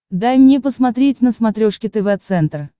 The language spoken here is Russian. дай мне посмотреть на смотрешке тв центр